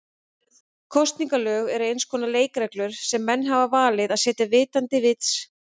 Kosningalög eru eins konar leikreglur sem menn hafa valið að setja vitandi vits.